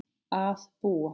Að búa?